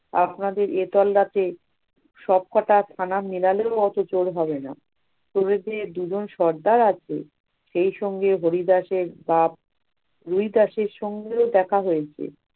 আপনাদের এ তল্লাতে সবকটা থানা মেলালেও অত চোর হবে না! চোরেদের দুজন সর্দার আছে। সেই সঙ্গে হরিদাসের গাব, হরিদাসের সঙ্গেও দেখা হয়েছে